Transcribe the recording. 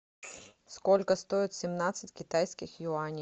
сколько стоит семнадцать китайских юаней